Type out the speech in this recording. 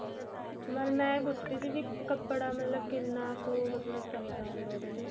ਪਰ ਮਸੀਂ ਇਹ ਪੁੱਛ ਰਹੀ ਸੀ ਕਪੜਾ ਮਤਲਬ ਕਿੰਨਾ ਕੁ ਮਤਲਬ ਚਾਹੀਦਾ ਹੁੰਦਾ ਉਹਦੇ ਲਈ